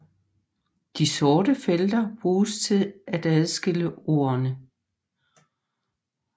De sorte felter bruges til at adskille ordene